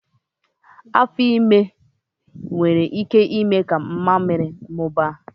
Afo ime nwere ike ime ka inyu mmamịrị mụbaa